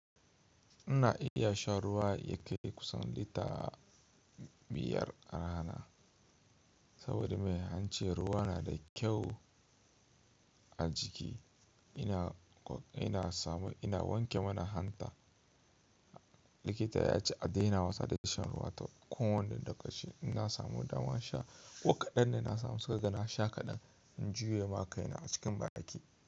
Ina iya sha ruwa ya kai kusan lita biyar a rana. Saboda me, ance ruwa na da kyau a jiki. Ina wanke mana hanta. Likita ya ce "a daina wasa da shan ruwa" to ko wani dokaci. Inna samu damar sha, ko ƙaɗan ne inna samu saboda na sha kaɗan. In jiye ma kaina a cikin bariki.